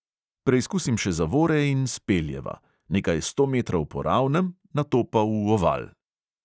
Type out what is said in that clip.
Preizkusim še zavore in speljeva – nekaj sto metrov po ravnem, nato pa v oval.